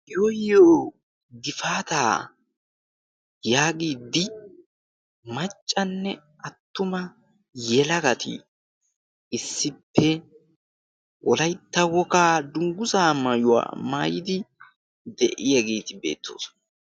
"yooyyo gifaataa" yaagiddi maccanne attuma yelagati issippe wolaytta wogaa dungguzaa mayuwaa maayidi de7iyaageeti beettoosona.